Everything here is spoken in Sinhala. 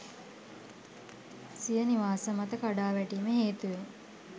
සිය නිවාස මත කඩා වැටීම හේතුවෙන්